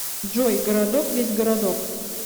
джой городок весь городок